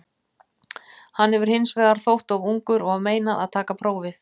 Hann hefur hins vegar þótt of ungur og var meinað að taka prófið.